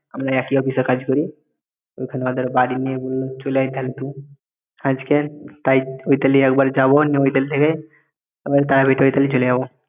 আমরা একই অফিসে কাজ করি ওইখানে ওদের বাড়ি নিয়ে বলল চলে আয় তাহলে তুই আজকে তাই ওইতালি একবার যাব ওইতালি থেকে তারপরে তায়াবে ওইতালি চলে যাব